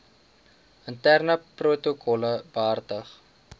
interne protokolle behartig